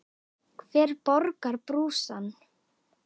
Hver borgar brúsann?